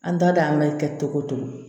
An ta dɔn an bɛ kɛ cogo cogo